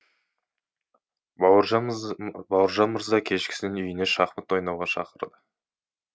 бауыржан мырза кешкісін үйіне шахмат ойнауға шақырды